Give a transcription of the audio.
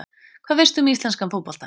Hvað veistu um íslenskan fótbolta?